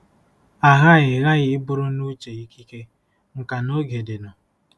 Aghaghị ghaghị iburu nuche ikike, nkà na oge dịnụ.